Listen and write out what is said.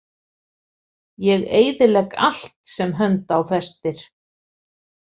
Ég eyðilegg allt sem hönd á festir.